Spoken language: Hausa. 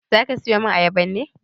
Zaka siyomin ayaban ne?